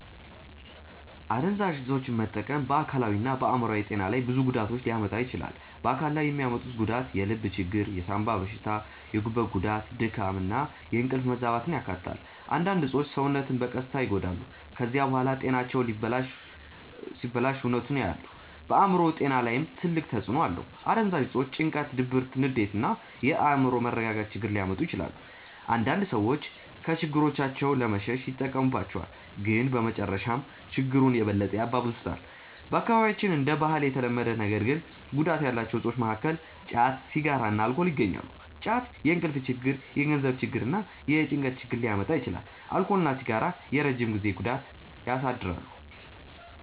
አደንዛዥ እፆችን መጠቀም በአካላዊና በአእምሮአዊ ጤና ላይ ብዙ ጉዳቶችን ሊያመጣ ይችላል። በአካል ላይ የሚያመጡት ጉዳት የልብ ችግር፣ የሳንባ በሽታ፣ የጉበት ጉዳት፣ ድካም እና የእንቅልፍ መዛባትን ያካትታል። አንዳንድ እፆች ሰውነትን በቀስታ ይጎዳሉ። ከዚያ በኋላ ጤናቸው ሲበላሽ እውነቱን ያያሉ። በአእምሮ ጤና ላይም ትልቅ ተጽእኖ አለው። አደንዛዥ እፆች ጭንቀት፣ ድብርት፣ ንዴት እና የአእምሮ መረጋጋት ችግር ሊያመጡ ይችላሉ። አንዳንድ ሰዎች ከችግሮቻቸው ለመሸሽ ይጠቀሙባቸዋል፣ ግን በመጨረሻ ችግሩን የበለጠ ያባብሱታል። በአካባቢያችን እንደ ባህል የተለመዱ ነገር ግን ጉዳት ያላቸው እፆች መካከል ጫት፣ ሲጋራ እና አልኮል ይገኛሉ። ጫት የእንቅልፍ ችግር፣ የገንዘብ ችግር እና የጭንቀት ሁኔታ ሊያመጣ ይችላል። አልኮል እና ሲጋራ የረጅም ጊዜ ጉዳት ያሳድራሉ።